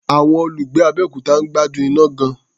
Àwọn olùgbé Abẹ́òkuta ń gbádùn iná gan-an.